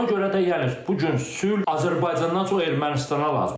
Ona görə də yəni bu gün sülh Azərbaycandan çox Ermənistana lazımdır.